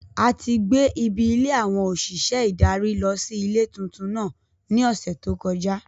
A ti gbé Ibi ilé àwọn òṣìṣẹ́ ìdarí lọ sí ilé tuntun náà ní ọ̀sẹ̀ tí ó kọjá.